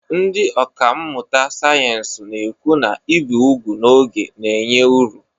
Ndị ọkà mmụta sayensị na-ekwu na ibi úgwù n'oge na-enye uru